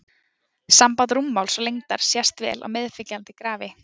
Samband rúmmáls og lengdar sést vel á meðfylgjandi grafi.